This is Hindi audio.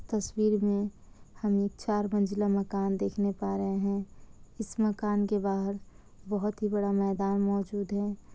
तस्वीर में हमे एक चार मंजिला मकान देखने पा रहे हैं। इस मकान के बाहर बहुत ही बड़ा मैदान मौजूद है।